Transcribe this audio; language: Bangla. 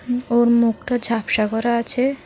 ওর মুখটা ঝাপসা করা আছে।